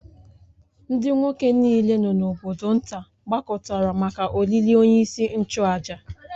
Ndị nwoke niile nọ n’obodo nta gbakọtara maka olili onyeisi nchụàjà